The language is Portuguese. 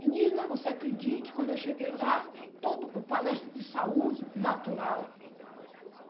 Menina, você acredite, quando eu cheguei lá, todo palestra de saúde natural.